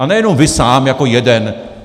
A nejenom vy sám jako jeden.